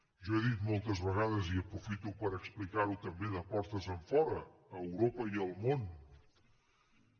jo he dit moltes vegades i aprofito per explicar ho també de portes enfora a europa i al món